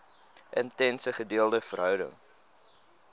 intense gedeelde verhouding